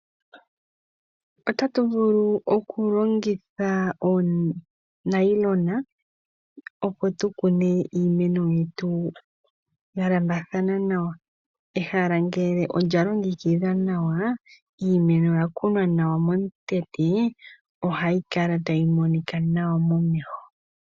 Otatuvulu okulongitha oonayilona opo tukune iimeno yetu ya lambathana nawa. Ehala ngele olya longekidhwa nawa ,iimeno oya kunwa nawa momukweyo ohayi kala ta yi monika nawa momeho.